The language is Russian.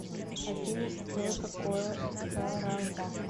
афина что такое саравак